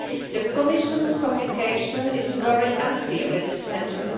The Commission's communication is very unclear on this matter.